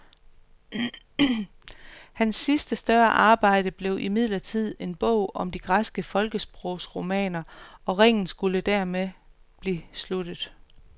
Hans sidste større arbejde blev imidlertid en bog om de græske folkesprogsromaner, og ringen skulle dermed blive sluttet.